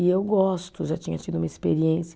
E eu gosto, já tinha tido uma experiência.